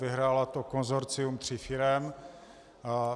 Vyhrálo to konsorcium tří firem.